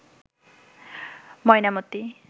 Mainamati